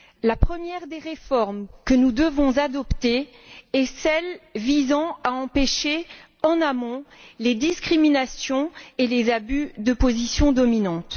La première des réformes que nous devons adopter est celle qui vise à empêcher en amont les discriminations et les abus de position dominante.